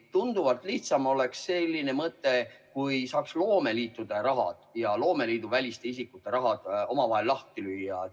Tunduvalt lihtsam oleks selline mõte, kui saaks loomeliitude raha ja loomeliitude väliste isikute raha lahku lüüa.